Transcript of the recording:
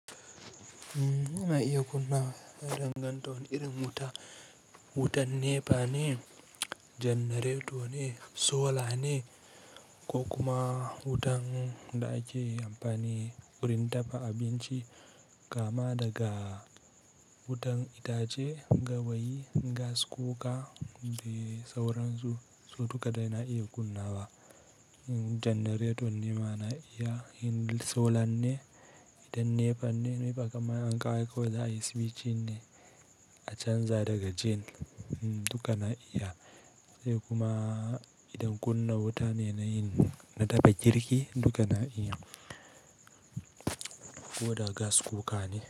Na iya kunna dangantoni irin wuta, wutan NEPA ne, janareto ne, sola ne ko kuma wutan da ake amfani wurin dafa abinci kama daga wutan itace, gawayi, gas kuka dai sauransu. Su duka dai na iya kunna wa. Jannareton nema na iya, insolar ne, idan NEPA ne, nepa kam in ankawo kawai za'a yi switching ne a canza daga gen duka na iya. Sai kuma idan kunna wuta ne na yin, na dafa girki duka na iya, ko da gas kukane.